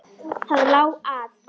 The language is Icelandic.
Það lá að.